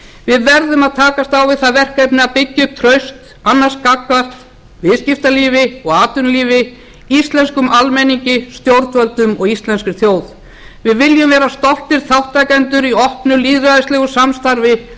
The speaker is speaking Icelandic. við verðum að takast á við það verkefni að byggja upp traust annars gagnvart viðskiptalífi og atvinnulífi íslenskum almenningi stjórnvöldum og íslenskri þjóð við viljum vera stoltir þátttakendur í opnu lýðræðislegu samstarfi á